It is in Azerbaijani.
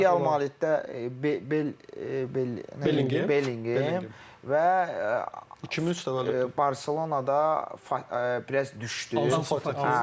Bir Real Madriddə Bel Bel Belin Belingem və 2003 təvəllüd Barselonada biraz düşdü.